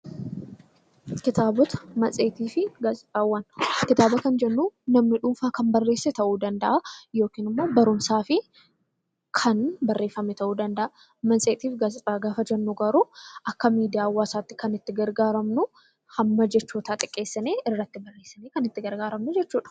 Kitaaba kan jennu namni dhuunfaa kan barreesse ta'uu danda'a yookiin immoo barumsaaf kan barreeffamee ta'uu danda'a. Matseetii fi gaazexaa gaafa jennu garuu Akka miidiyaa hawaasaatti kan itti gargaaramnu hamma jechootaa xiqqeessitee barreessuudha.